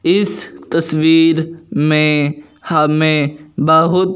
इस तस्वीर में हमें बहुत--